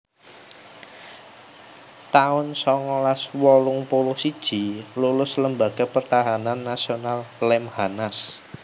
taun songolas wolung puluh siji Lulus Lembaga Pertahanan Nasional Lemhanas